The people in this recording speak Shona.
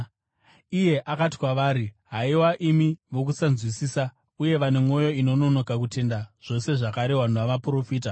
Iye akati kwavari, “Haiwa imi vokusanzwisisa, uye vane mwoyo inononoka kutenda zvose zvakarehwa navaprofita!